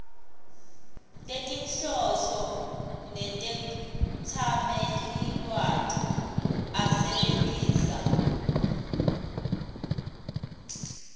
tetinhloso netetsamelilwati asebentisa